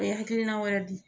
hakilina wɛrɛ di.